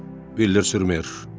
Biller Sürmər.